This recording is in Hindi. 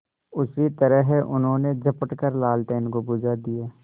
उसी तरह उन्होंने झपट कर लालटेन को बुझा दिया